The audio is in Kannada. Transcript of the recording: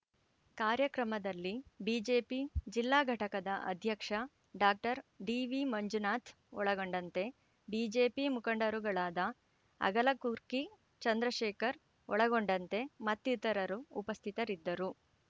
ಕಾರ್ಯಕ್ರಮದಲ್ಲಿ ಬಿಜೆಪಿ ಜಿಲ್ಲಾಘಟಕದ ಅಧ್ಯಕ್ಷ ಡಾಕ್ಟರ್ ಡಿವಿ ಮಂಜುನಾಥ್ ಒಳಗೊಂಡಂತೆ ಬಿಜೆಪಿ ಮುಖಂಡರುಗಳಾದ ಅಗಲಗುರ್ಕಿ ಚಂದ್ರಶೇಖರ್ ಒಳಗೊಂಡಂತೆ ಮತ್ತಿತರರು ಉಪಸ್ಥಿತರಿದ್ದರು